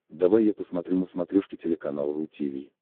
давай я посмотрю на смотрешке телеканал ру ти ви